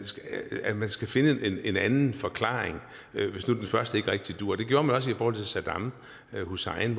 at man skal finde en anden forklaring hvis nu den første ikke rigtig duer det gjorde man også i forhold til saddam hussein